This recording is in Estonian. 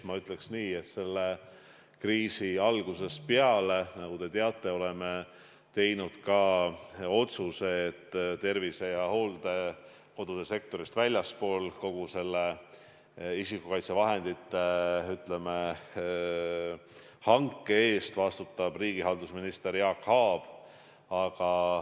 Ma ütleks nii, et kriisi alguses me tegime otsuse, nagu te teate, et tervise- ja hooldekodude sektorist väljaspool vastutab kogu isikukaitsevahendite hankimise eest riigihalduseminister Jaak Aab.